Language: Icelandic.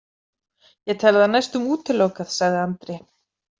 Ég tel það næstum útilokað, sagði Andri.